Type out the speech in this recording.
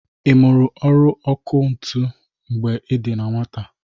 I mụrụ ọrụ ọkụ ntụ mgbe ị dị na nwata?